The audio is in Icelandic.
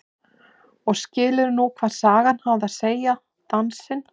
Og skilur nú hvað sagan hafði að segja, dansinn.